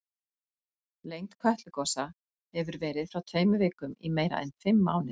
Lengd Kötlugosa hefur verið frá tveimur vikum í meira en fimm mánuði.